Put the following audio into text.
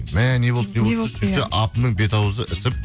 мә не болды сөйтсе апамның бет ауызы ісіп